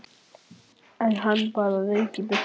India, hvað er á dagatalinu í dag?